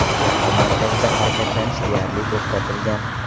Shahar markazida harakatlanish deyarli to‘xtatilgan.